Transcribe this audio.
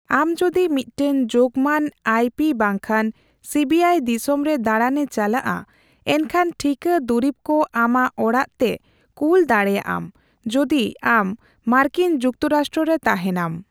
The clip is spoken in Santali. ᱟᱢ ᱡᱚᱫᱤ ᱢᱤᱫᱴᱟᱝ ᱡᱳᱜᱢᱟᱱ ᱟᱭᱹ ᱯᱤ ᱵᱟᱝᱠᱷᱟᱱ ᱥᱤᱹ ᱵᱤᱹ ᱟᱭ ᱫᱤᱥᱚᱢ ᱨᱮ ᱫᱟᱲᱟᱱᱮ ᱪᱟᱞᱟᱜᱼᱟ, ᱮᱱᱠᱷᱟᱱ ᱴᱷᱤᱠᱟᱹ ᱫᱩᱨᱤᱵ ᱠᱚ ᱟᱢᱟᱜ ᱚᱲᱟᱜ ᱛᱮ ᱠᱩᱞ ᱫᱟᱲᱮᱭᱟᱜᱼᱟᱢ, ᱡᱚᱫᱤ ᱟᱢ ᱢᱟᱨᱠᱤᱱ ᱡᱩᱠᱛᱚᱨᱟᱥᱴᱨᱚ ᱨᱮ ᱛᱟᱦᱮᱸᱱᱟᱢ ᱾